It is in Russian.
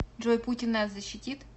джой путин нас защитит